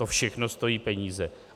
To všechno stojí peníze.